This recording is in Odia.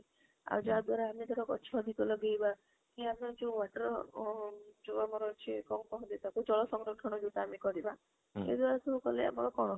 ଆଉ ଯାହା ଦ୍ବାରା ଆମେ ଗଛ ଅଧିକା ଲଗେଇବା କି ଆମେ ଯୋଉ water ଅ ଯୋଉ ଆମର ଅଛି କଣ କହନ୍ତି ତାକୁ ଜଳ ସଂରକ୍ଷଣ ଆମେ କରିବା ଏଇଟାକୁ କଲେ ଆମର କଣ